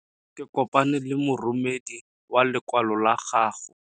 Ke kopane le moromedi wa lokwalo lwa gago.